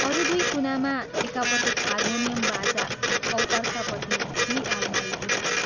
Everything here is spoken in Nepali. अरू दुइ कुनामा एकापट्टि हार्मोनियम बाजा औ अर्कापट्टि दुइ आलमारी पुस्तक।